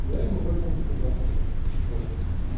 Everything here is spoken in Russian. я им об этом сказал ну такое